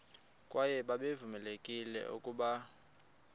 kwaye babevamelekile ukuba